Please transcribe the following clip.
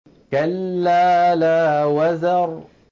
كَلَّا لَا وَزَرَ